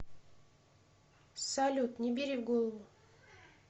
салют не бери в голову